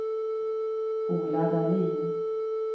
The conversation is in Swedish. Ola Dahlin